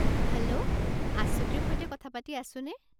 Hello, আশ্বতীৰ সৈতে কথা পাতি আছোনে?